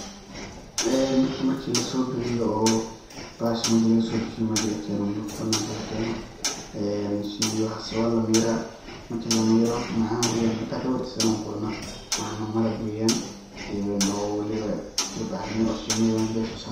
Horta marki lasobixiyo oo bahasha meja laga sobixiyo meja lakeno marka bananka lakeno een shinida iyo waxas waa la miraa, marki la miroo macan weyaan hita kabartiso ani wan kucuna waxana malab weya een oo waliba labac ramiye oo shinida mesha laga sosare.